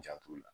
N jant'o la